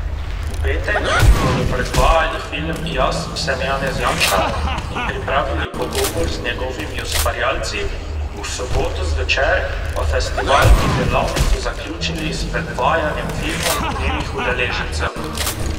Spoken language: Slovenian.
V petek bodo predvajali film Jaz sem Janez Janša in pripravili pogovor z njegovimi ustvarjalci, v soboto zvečer pa festival in delavnico zaključili s predvajanjem filmov njenih udeležencev.